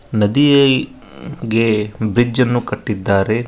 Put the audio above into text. ನದಿಯೆ ಗೆ ಬ್ರಿಡ್ಜ್ ಅನ್ನು ಕಟ್ಟಿದ್ದಾರೆ.